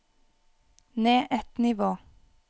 ned ett nivå